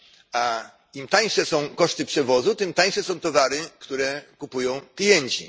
A im tańsze są koszty przewozu, tym tańsze są towary, które kupują klienci.